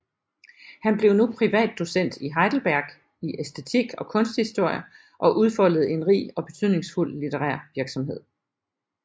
Han blev nu privatdocent i Heidelberg i æstetik og kunsthistorie og udfoldede en rig og betydningsfuld litterær virksomhed